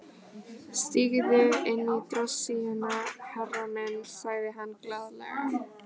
Stígðu inní drossíuna, herra minn, sagði hann glaðlega.